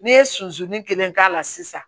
Ne ye suso ni kelen k'a la sisan